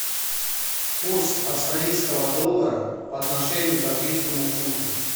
курс австралийского доллара по отношению к английскому фунту